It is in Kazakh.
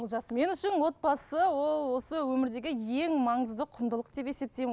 олжас мен үшін отбасы ол осы өмірдегі ең маңызды құндылық деп есептеймін